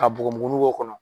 Ka bɔgɔ muguninw bɔ o kɔnɔ.